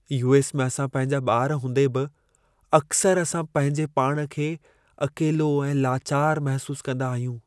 US. में असां पंहिंजा ॿार हूंदे बि अक्सर असां पंहिंजे पाण खे अकेलो ऐं लाचार महसूस कंदा आहियूं।